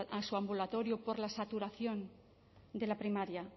a su ambulatorio por la saturación de la primaria